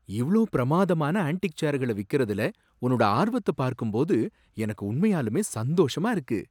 இவ்ளோ பிரமாதமான ஆண்டிக் சேர்கள விக்கிறதுல உன்னோட ஆர்வத்த பார்க்கும் போது எனக்கு உண்மையாலுமே சந்தோஷமா இருக்கு.